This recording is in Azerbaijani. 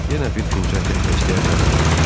Yenə bir fincan qəhvə istəyə bilərəm?